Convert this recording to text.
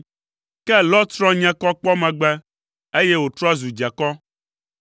Ke Lot srɔ̃ nye kɔ kpɔ megbe, eye wòtrɔ zu dzekɔ.